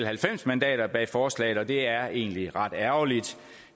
halvfems mandater bag forslaget og det er egentlig ret ærgerligt